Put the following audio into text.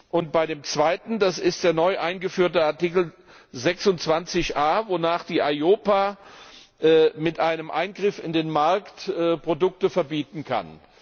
Und bei dem zweiten das ist der neu eingeführte Artikel26a, wonach die EIOPA mit einem Eingriff in den Markt Produkte verbieten kann.